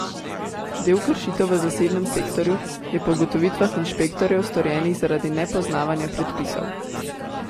Del kršitev v zasebnem sektorju je po ugotovitvah inšpektorjev storjenih zaradi nepoznavanja predpisov.